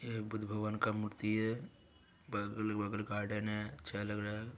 ये बुद्ध भगवान का मूर्ति है बगल वगल गार्डन है अच्छा लग रहा है।